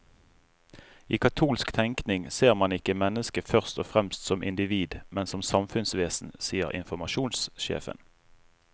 I katolsk tenkning ser man ikke mennesket først og fremst som individ, men som samfunnsvesen, sier informasjonssjefen.